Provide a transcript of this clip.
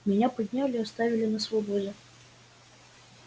меня подняли и оставили на свободе